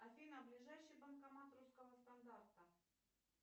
афина ближайший банкомат русского стандарта